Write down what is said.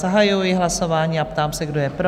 Zahajuji hlasování a ptám se, kdo je pro?